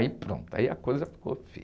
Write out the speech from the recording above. Aí pronto, aí a coisa ficou feia.